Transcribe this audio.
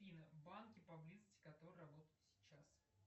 афина банки поблизости которые работают сейчас